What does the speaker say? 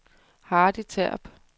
Hardy Terp